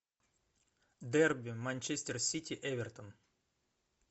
дерби манчестер сити эвертон